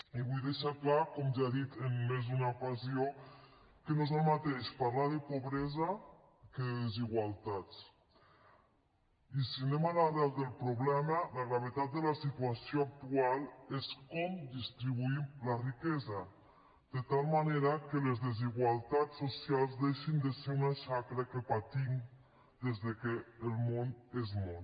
i vull deixar clar com ja he dit en més d’una ocasió que no és el mateix parlar de pobresa que de desigualtats i si anem a l’arrel del problema la gravetat de la situació actual és com distribuïm la riquesa de tal manera que les desigualtats socials deixin de ser una xacra que patim des que el món és món